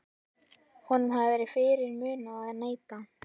Honum hafði verið fyrirmunað að neita.